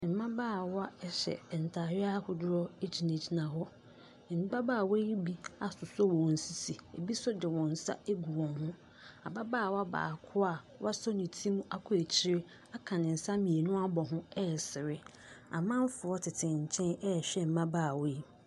Mmabaawa hyɛ ntadeɛ ahodoɔ gyinagyina hɔ. Mmabaawa yi bi asosɔ wɔn sisi, ɛbi nso de wɔn nsa agu wɔn ho. Ababaawa baako a wasɔ ne ti mu akɔ akyire aka ne nsa mmienu abɔ ho resere. Amanfoɔ tete nkyɛn rehwɛ mmabaawa yi.